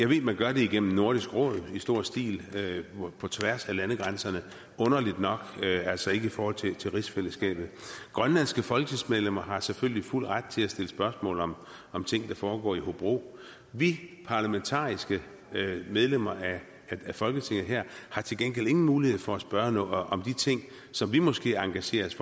ved man gør det igennem nordisk råd i stor stil på tværs af landegrænserne men underligt nok altså ikke i forhold til til rigsfællesskabet grønlandske folketingsmedlemmer har selvfølgelig fuld ret til at stille spørgsmål om om ting der foregår i hobro vi parlamentariske medlemmer af folketinget her har til gengæld ingen mulighed for at spørge om de ting som vi måske engagerer os